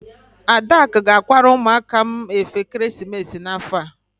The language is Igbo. Adaku ga-akwara ụmụaka m efe ekeresimesi n'afọ a.